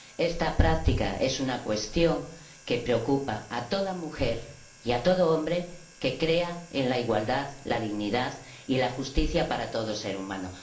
Esta práctica es una cuestión que preocupa a toda mujer y a todo hombre que crea en la igualdad, la dignidad y la justicia para todo ser humano.